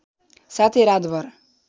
साथै रातभर